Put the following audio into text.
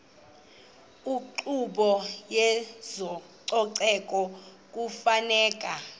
inkqubo yezococeko kufuneka